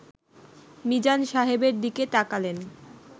মিজান সাহেবের দিকে তাকালেন